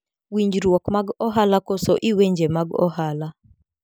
Winjruok mag ohala koso lwenje mag ohala.